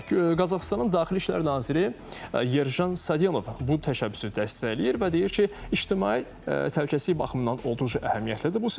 Qazaxıstanın Daxili İşlər naziri Yerjan Sadionov bu təşəbbüsü dəstəkləyir və deyir ki, ictimai təhlükəsizlik baxımından olduqca əhəmiyyətlidir bu sənəd.